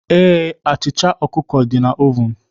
Ee, achịcha ọkụkọ dị na oven